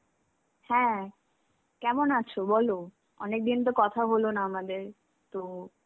হ্যাঁ, কেমন আছো বলো, অনেকদিন তো কথা হলোনা আমাদের, তো